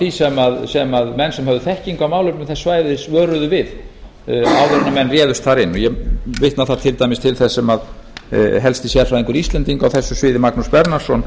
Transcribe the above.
því sem menn sem höfðu þekkingu á málefnum þess svæðis vöruðu við áður en menn réðust þar inn ég vitna þar til dæmis til þess sem helsti sérfræðingur íslendinga á þessu sviði magnús bernharðsson